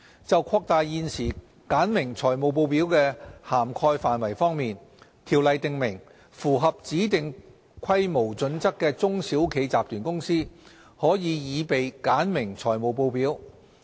就擴大現時簡明財務報表的涵蓋範圍方面，《條例》訂明，符合指定規模準則的中小企集團公司，可擬備簡明財務報表。